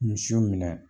Misiw minɛ